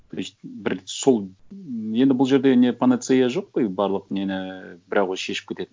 то есть бір сол енді бұл жерде не панацея жоқ қой барлық нені бір ақ өзі шешіп кететін